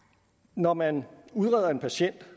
når man udreder en patient